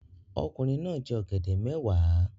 Ọkùnrin náà jẹ ọ̀gẹ̀dẹ̀ mẹ́wàá